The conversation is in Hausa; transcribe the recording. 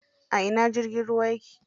A ina jirgin ruwan yake?